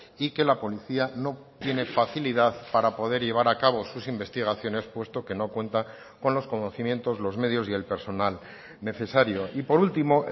y que la policía no tiene facilidad para poder llevar a cabo sus investigaciones puesto que no cuenta con los conocimientos los medios y el personal necesario y por último